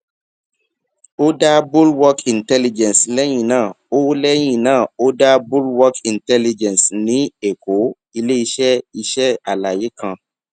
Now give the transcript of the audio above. o da bulwark intelligence lẹyin naa o lẹyin naa o da bulwark intelligence ni èkó ileiṣẹ iṣẹ alaye kan